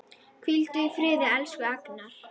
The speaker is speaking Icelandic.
Hvíldu í friði, elsku Agnar.